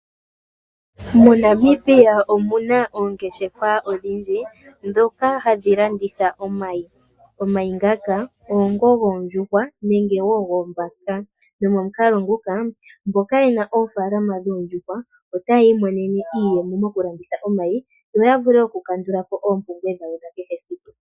MoNamibia omu na oongeshefa odhindji ndhoka hadhi landitha omayi. Omayi ngaka oongoka goondjuhwa nenge goombaka nomomukalo nguka mboka ye na oofaalama dhoondjuhwa otaya imonene iiyemo mokulanditha omayi yo ya vule okukandula po oompumbwe dhawo dhakehesiku.